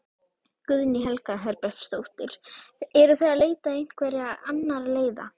Guðný Helga Herbertsdóttir: Eruð þið að leita einhverja annarra leiða?